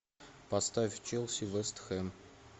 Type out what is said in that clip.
поставь челси вест хэм